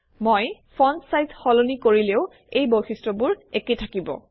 মই font size সলনি কৰিলেও এই বৈশিষ্ট্যবোৰ একে থাকিব